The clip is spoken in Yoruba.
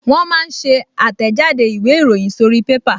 Wọ́n máa ń ṣe àtẹ̀jáde ìwé ìròyìn sórí pépà